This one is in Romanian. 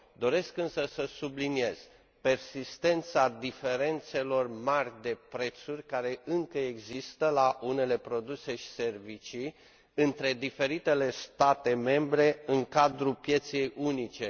Doresc însă să subliniez persistența diferențelor mari de prețuri, care încă există la unele produse și servicii între diferitele state membre în cadrul pieței unice.